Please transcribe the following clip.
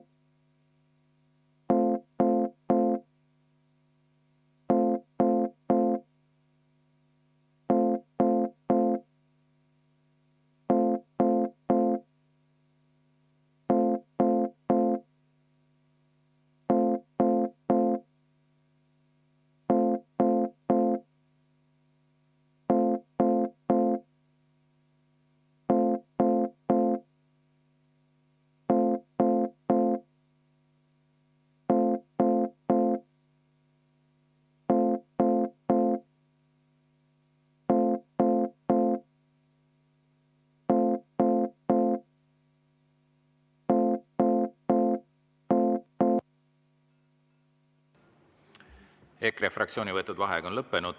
EKRE fraktsiooni võetud vaheaeg on lõppenud.